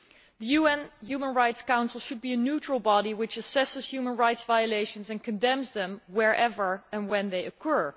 The UN Human Rights Council should be a neutral body which assesses human rights violations and condemns them wherever and whenever they occur.